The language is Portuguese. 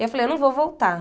Eu falei, eu não vou voltar.